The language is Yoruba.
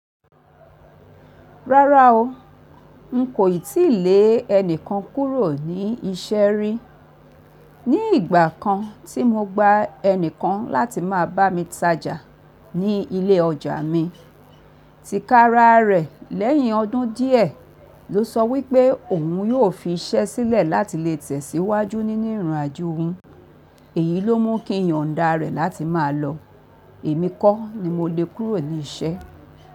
Rárá o, n kò ì tí lè ẹnìkan kúrò ní iṣẹ́ rí. Ní ìgbà kan tí mo gba ẹnìkan láti máa bá mi tajà ní ilé ọjà mi, tí kára rẹ̀ lẹ́yìn ọdún díẹ̀ ló sọ wípé òun yóò fi iṣẹ́ sílẹ̀ láti lè tẹ̀síwájú nínú ìrìnàjò òun. Èyí ló mú kí n yan dà rẹ̀ láti máa lọ. Èmi kọ́ ni mo lè kúrò ní iṣẹ́.